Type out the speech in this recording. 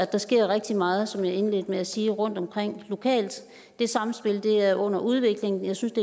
der sker rigtig meget som jeg indledte med at sige rundtomkring lokalt det sammenspil er under udvikling jeg synes at